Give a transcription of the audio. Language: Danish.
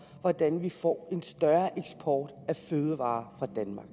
hvordan vi får en større eksport af fødevarer fra danmark